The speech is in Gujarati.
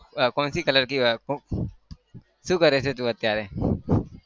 कोनसीcolourकी શું કરે છે તું અત્યારે?